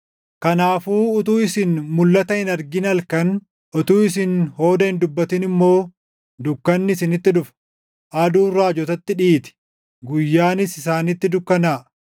Kanaafuu utuu isin mulʼata hin argin halkan, utuu isin hooda hin dubbatin immoo dukkanni isinitti dhufa. Aduun raajotatti dhiiti; guyyaanis isaanitti dukkanaaʼa.